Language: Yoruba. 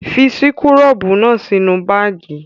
Fi súkúrọ́bù náà sínú báágì!